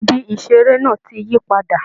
Ibi iṣere náà tí yí padà.